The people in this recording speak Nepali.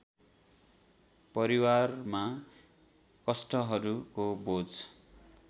परिवारमा कष्टहरूको बोझ